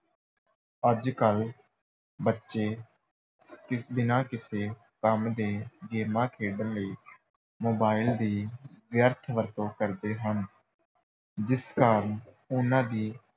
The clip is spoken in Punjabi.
ਅੱਜ-ਕੱਲ੍ਹ ਬੱਚੇ ਕਿ ਬਿਨਾਂ ਕਿਸੇ ਕੰਮ ਦੇ ਗੇਮਾਂ ਖੇਡਣ ਲਈ mobile ਦੀ ਵਿਅਰਥ ਵਰਤੋਂ ਕਰਦੇ ਹਨ, ਜਿਸ ਕਾਰਨ ਉਨ੍ਹਾਂ ਦੀ